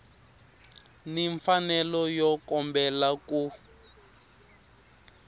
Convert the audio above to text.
ni mfanelo yo kombela ku